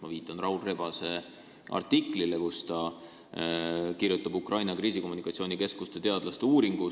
Ma viitan Raul Rebase artiklile, kus ta kirjutab Ukraina Kriisikommunikatsiooni Keskuse teadlaste uuringust.